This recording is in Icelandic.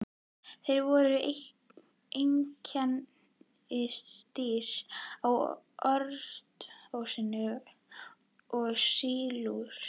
Þeir voru einkennisdýr á ordóvísíum og sílúr.